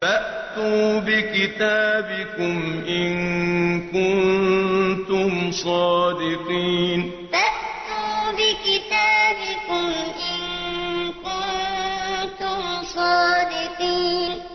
فَأْتُوا بِكِتَابِكُمْ إِن كُنتُمْ صَادِقِينَ فَأْتُوا بِكِتَابِكُمْ إِن كُنتُمْ صَادِقِينَ